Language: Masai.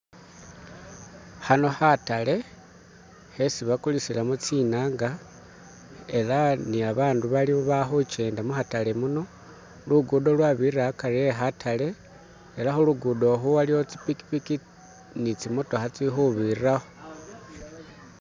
Khano khatale khesi bagulisilamo tsinanga ela ni abandu baliwo balikhujenda mukhatale muno lugudo lwabirila hagari khe katatale ela khulugudo khuwaliwo zipikipiki ni tsimotokha tsili khubirilawo.